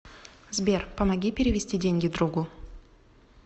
сбер помоги перевести деньги другу